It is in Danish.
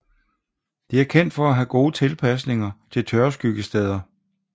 Det er kendt for at have gode tilpasninger til tørskyggesteder